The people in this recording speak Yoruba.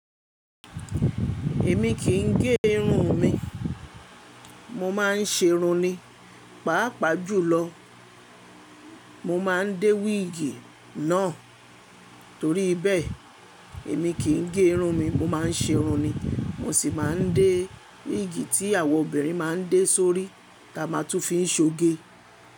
Èmi kì í gẹ irun mi, mo máa ń ṣe irun ni. Páàpáà jùlọ mo máa ń dé wíìgì náà torí bẹ́ẹ̀ èmi kì í ge irun mi mo máa ń ṣe irun ni. Mo sì máa ń dé wíìgì tí àwọn obìnrin máa ń dé sórí táa ma tún fi ń ṣoge.